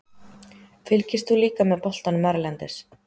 Fylgist þú líka með boltanum erlendis?